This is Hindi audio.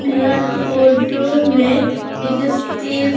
यह एक फोटो में एक स्टेज --